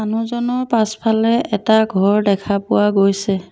মানুহজনৰ পাছফালে এটা ঘৰ দেখা পোৱা গৈছে।